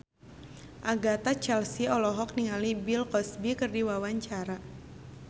Agatha Chelsea olohok ningali Bill Cosby keur diwawancara